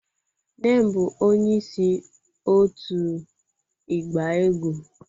Nne m bụ onyeisi òtù ịgba egwú